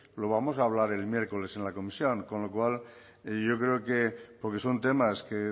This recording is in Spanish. lo vamos a hablar el miércoles en la comisión con lo cual yo creo que porque son temas que